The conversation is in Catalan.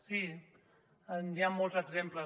sí n’hi ha molts exemples